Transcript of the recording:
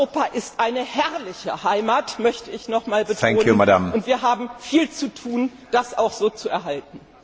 Europa ist eine herrliche Heimat, möchte ich noch einmal betonen, und wir haben viel zu tun, das auch so zu erhalten.